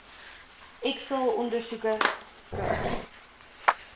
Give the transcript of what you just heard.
x straalondersoeke skraap